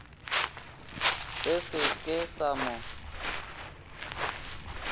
se se ke sa mo